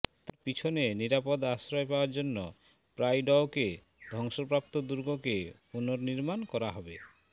তাঁর পিছনে নিরাপদ আশ্রয় পাওয়ার জন্য প্রাইডওকে ধ্বংসপ্রাপ্ত দুর্গকে পুনর্নির্মাণ করা হবে